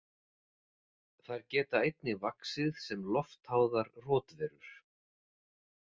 Þær geta einnig vaxið sem loftháðar rotverur.